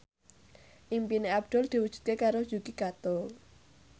impine Abdul diwujudke karo Yuki Kato